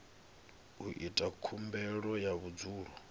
u ita khumbelo ya vhudzulo